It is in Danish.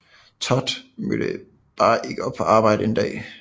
Todd mødte bare ikke op på arbejde en dag